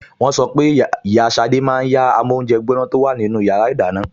Wọ́n sọ pé ìyá Ṣadé máa yá amóúnjẹgbóná tó wà nínú yàrá ìdáná